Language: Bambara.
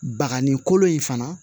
Bakanni kolo in fana